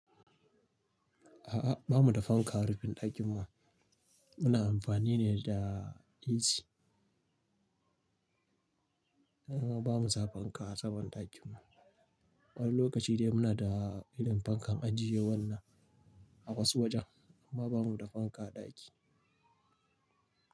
A'a, ba mu da fanka a rufin ɗakin mu. Muna amfani ne da AC. A'a, ba mu sa fanka a saman ɗakin mu. Wani lokaci dai muna da irin fankan ajiye wannan a wasu wajen, amma ba mu da fanka a ɗaki.